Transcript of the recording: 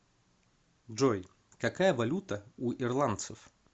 джой какая валюта у ирландцев